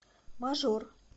мажор